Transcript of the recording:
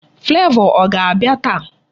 Flavor ọ ga-abịa taa?